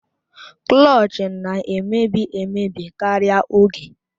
Klọch na-emebi emebi karịa oge